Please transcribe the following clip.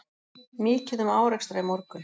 Mikið um árekstra í morgun